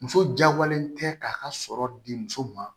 Muso jagoyalen tɛ k'a ka sɔrɔ di muso ma